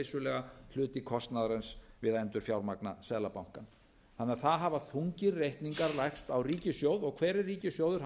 vissulega hluti kostnaðarins við að endurfjármagna seðlabankann þannig að það hafa þungir reikningar lagst á ríkissjóð og hver er ríkissjóður